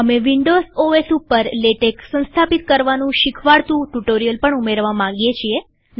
અમે Windows OS ઉપર LaTeX સંસ્થાપિત કરવાનું શીખવાડતું ટ્યુ્ટોરીઅલ પણ ઉમેરવા માંગીએ છીએ